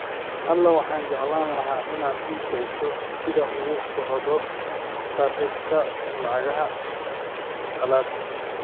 alexa waxaan jeclaan lahaa inaad ii sheegto sida uu u socdo sarifka lacagaha qalaad